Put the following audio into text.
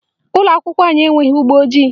Ụlọakwụkwọ anyị enweghị mgbọojii